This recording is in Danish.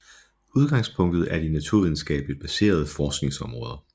Udgangspunktet er de naturvidenskabeligt baserede forskningsområder